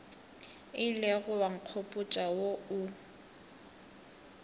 ilego wa nkgopotša wo o